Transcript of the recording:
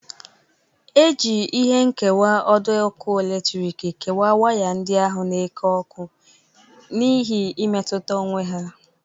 E ji ihe nkewa ọdọ ọkụ eletriki kewa waya ndị ahụ na-eke ọkụ n'ihi imetuta onwe ha.